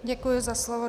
Děkuji za slovo.